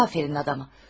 Afərin adama.